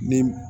Ni